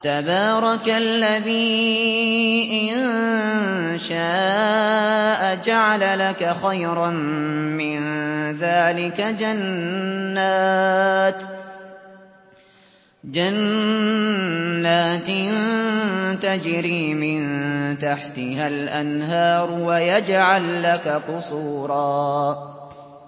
تَبَارَكَ الَّذِي إِن شَاءَ جَعَلَ لَكَ خَيْرًا مِّن ذَٰلِكَ جَنَّاتٍ تَجْرِي مِن تَحْتِهَا الْأَنْهَارُ وَيَجْعَل لَّكَ قُصُورًا